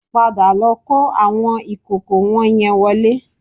Padà lọ kó àwọn ìkòkò wọ̀nyẹn wọlé